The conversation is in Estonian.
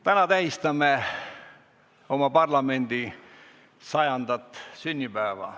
Täna tähistame oma parlamendi 100. sünnipäeva.